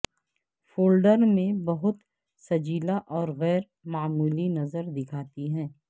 folder میں بہت سجیلا اور غیر معمولی نظر دکھاتی ہے